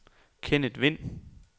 Kenneth Vind